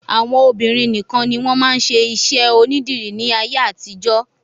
Àwọn obìnrin nìkan ni wọ́n máa ń ṣe iṣẹ́ onídìrí ní ayé àtijọ́.